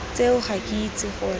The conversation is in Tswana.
tseo ga ke itse gore